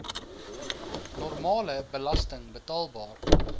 normale belasting betaalbaar